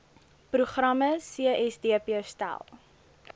programme csdp stel